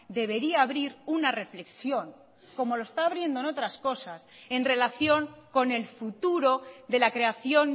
debería abrir una reflexión como lo está abriendo en otras cosas en relación con el futuro de la creación